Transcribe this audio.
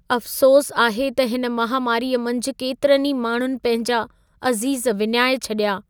अफ़सोस आहे त हिन महामारीअ मंझि केतिरनि ई माण्हुनि पंहिंजा अज़ीज़ विञाए छॾिया।